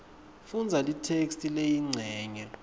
fundza letheksthi leyincenye